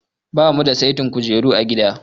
Ba mu da saitin kujeru a gida.